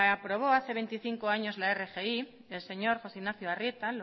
aprobó hace veinticinco años la rgi el señor josé ignacio arrieta